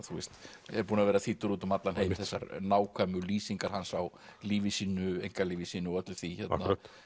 hefur verið þýddur út um allan heim þessar nákvæmu lýsingar hans á lífi sínu einkalífi sínu og öllu því hérna